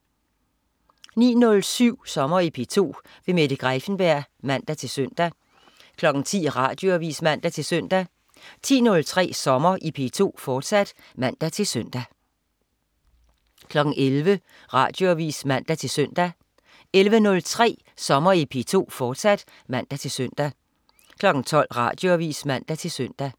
09.07 Sommer i P2. Mette Greiffenberg (man-søn) 10.00 Radioavis (man-søn) 10.03 Sommer i P2, fortsat (man-søn) 11.00 Radioavis (man-søn) 11.03 Sommer i P2, fortsat (man-søn) 12.00 Radioavis (man-søn)